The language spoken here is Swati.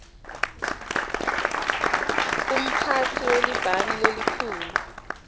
mphatsi welibhangi lelikhulu